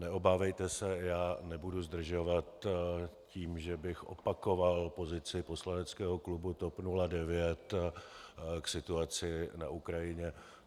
Neobávejte se, já nebudu zdržovat tím, že bych opakoval pozici poslaneckého klubu TOP 09 k situaci na Ukrajině.